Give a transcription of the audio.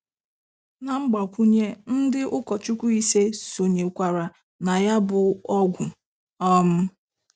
Na Mgbakwunye ndị ụkọchukwu ise sonyekwara na ya bụ ọgwụ um